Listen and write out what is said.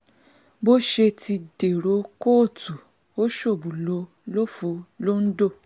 bọ́sẹ̀ ti dèrò kóòtù ó ṣọ́ọ̀bù ló lọ́ọ́ fọ́ lońdó